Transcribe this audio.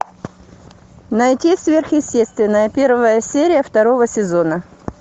найти сверхъестественное первая серия второго сезона